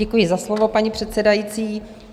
Děkuji za slovo, paní předsedající.